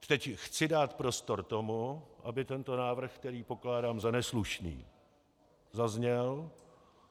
Teď chci dát prostor tomu, aby tento návrh, který pokládám za neslušný, zazněl.